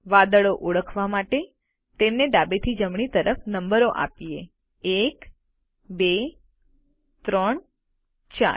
વાદળો ઓળખવા માટે તેમને ડાબેથી જમણી તરફ નંબરો આપીએ 1 2 3 4